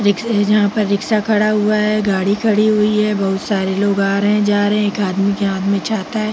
देखिये यहाँ पर रिक्शा खड़ा हुआ है गाडी खडी हुई है बोहोत सारे लोग आ रहे जा रहे। एक आदमी के हाथ में छाता है।